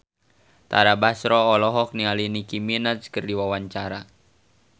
Tara Basro olohok ningali Nicky Minaj keur diwawancara